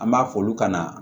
An b'a fɔ olu ka na